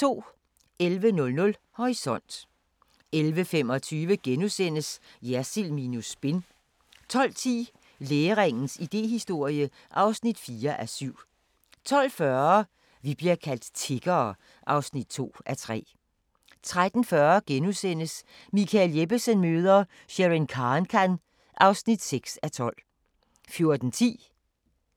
11:00: Horisont 11:25: Jersild minus spin * 12:10: Læringens idéhistorie (4:7) 12:40: Vi bliver kaldt tiggere (2:3) 13:40: Michael Jeppesen møder ... Sherin Khankan (6:12)* 14:10: